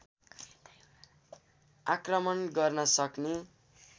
आक्रमण गर्न सक्ने